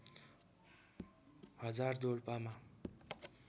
हजार डोल्पामा